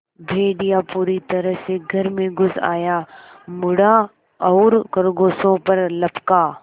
भेड़िया पूरी तरह से घर में घुस आया मुड़ा और खरगोशों पर लपका